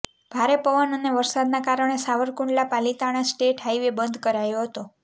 ભારે પવન અને વરસાદના કારણે સાવરકુંડલા પાલિતાણા સ્ટેટ હાઇવે બંધ કરાયો હતો